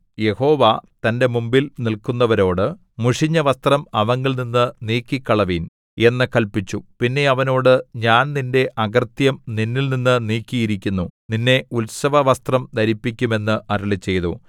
യഹോവ തന്റെ മുമ്പിൽ നിൽക്കുന്നവരോട് മുഷിഞ്ഞ വസ്ത്രം അവങ്കൽനിന്നു നീക്കിക്കളവിൻ എന്നു കല്പിച്ചു പിന്നെ അവനോട് ഞാൻ നിന്റെ അകൃത്യം നിന്നിൽനിന്നു നീക്കിയിരിക്കുന്നു നിന്നെ ഉത്സവവസ്ത്രം ധരിപ്പിക്കും എന്നു അരുളിച്ചെയ്തു